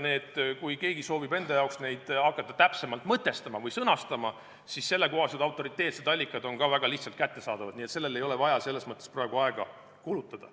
Kui keegi soovib hakata neid täpsemalt mõtestama või sõnastama, siis sellekohased autoriteetsed allikad on väga lihtsasti kättesaadavad, nii et sellele ei ole vaja praegu aega kulutada.